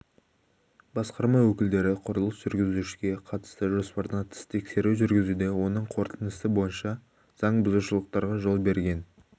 басқарма өкілдері құрылыс жүргізушіге қатысты жоспардан тыс тексеру жүргізуде оның қорытындысы бойынша заңбұзушылықтарға жол берген